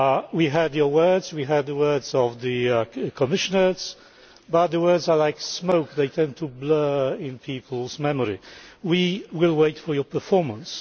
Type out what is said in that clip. We heard your words, we heard the words of the Commissioners, but words are like smoke they tend to blur in peoples' memory. We will wait for your performance.